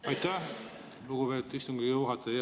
Aitäh, lugupeetud istungi juhataja!